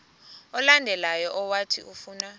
olandelayo owathi ufuna